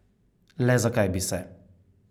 Le zakaj bi se?